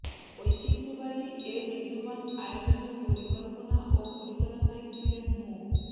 ঐতিহ্যবাহী এ মেজবান আয়োজনের পরিকল্পনা ও পরিচালনায় ছিলেন মো